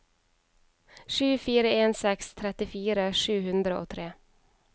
sju fire en seks trettifire sju hundre og tre